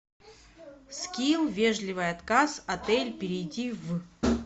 скилл вежливый отказ отель перейди в